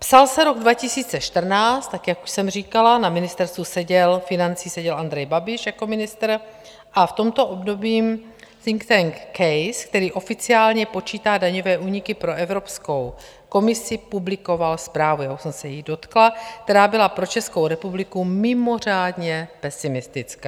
Psal se rok 2014, tak jak už jsem říkala, na Ministerstvu financí seděl Andrej Babiš jako ministr a v tomto období think tank CASE, který oficiálně počítá daňové úniky pro Evropskou komisi, publikoval zprávu, já už jsem se jí dotkla, která byla pro Českou republiku mimořádně pesimistická.